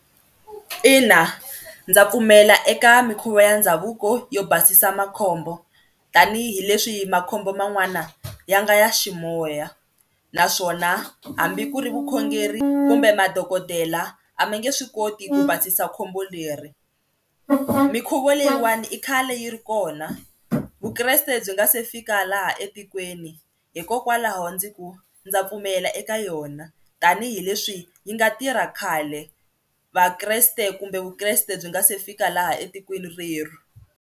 Ina ndza pfumela eka mikhuva ya ndhavuko yo basisa makhombo tanihileswi makhombo man'wana ya nga ya ximoya naswona hambi ku ri vukhongeri kumbe madokodela a ma nge swi koti ku basisa khombo leri. Mikhuva leyiwani i khale yi ri kona Vukreste byi nga se fika laha etikweni hikokwalaho ndzi ku ndza pfumela eka yona tanihileswi yi nga tirha khale Vakreste kumbe Vukreste byi nga se fika laha etikweni reri.